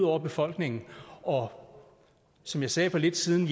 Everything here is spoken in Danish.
over befolkningen og som jeg sagde for lidt siden